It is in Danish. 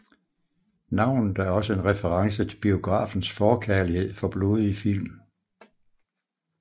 Navnet et også en reference til biografens forkærlighed for blodige film